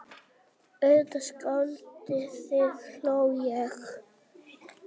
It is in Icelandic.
Voru hún og Týri kannski einu lifandi verurnar sem eftir voru í heiminum?